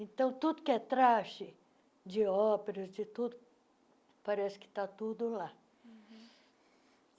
Então, tudo que é traje de óperas, de tudo, parece que está tudo lá.